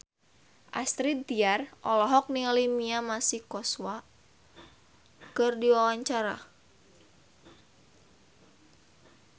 Astrid Tiar olohok ningali Mia Masikowska keur diwawancara